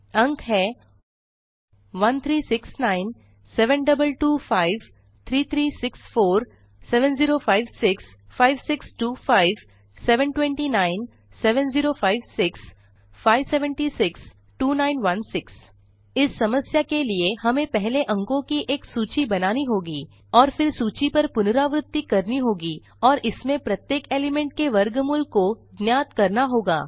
अंक हैं 1369 7225 3364 7056 5625 729 7056 576 2916 इस समस्या के लिए हमें पहले अंको की एक सूची बनानी होगी और फिर सूची पर पुनरावृति करनी होगी और इसमें प्रत्येक एलिमेंट के वर्गमूल को ज्ञात करना होगा